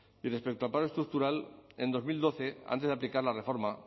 y respecto al paro estructural en dos mil doce antes de aplicar la reforma